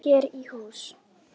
Hér í hús